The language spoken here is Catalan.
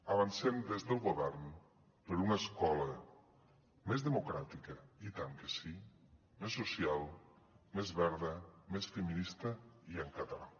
avancem des del govern per una escola més democràtica i tant que sí més social més verda més feminista i en català